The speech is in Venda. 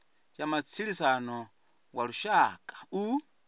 ya matshilisano wa lushaka u